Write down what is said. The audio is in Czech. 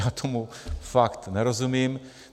Já tomu fakt nerozumím.